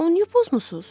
Onu niyə pozmusuz?